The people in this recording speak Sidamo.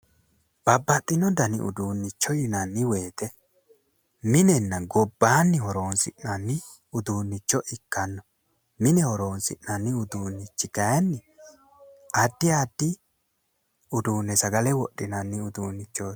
Babbaxxino danni uduunicho yinnanni woyte minenna gobbaanni horonsi'nanni uduunicho ikkanno mine horonsi'nanni uduunichi kayyinni addi addi uduune sagale wodhinanni uduunichoti